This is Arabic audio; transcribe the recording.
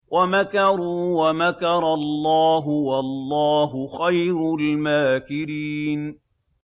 وَمَكَرُوا وَمَكَرَ اللَّهُ ۖ وَاللَّهُ خَيْرُ الْمَاكِرِينَ